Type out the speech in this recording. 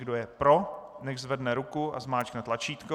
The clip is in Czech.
Kdo je pro, nechť zvedne ruku a zmáčkne tlačítko.